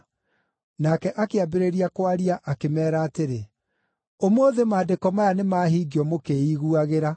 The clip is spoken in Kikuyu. Nake akĩambĩrĩria kwaria, akĩmeera atĩrĩ, “Ũmũthĩ maandĩko maya nĩ mahingio mũkĩĩiguagĩra.”